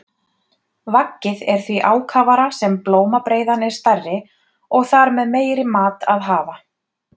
Vaggið er því ákafara sem blómabreiðan er stærri og þar með meiri mat að hafa.